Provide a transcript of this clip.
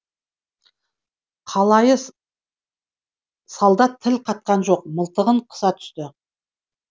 қалайы солдат тіл қатқан жоқ мылтығын қыса түсті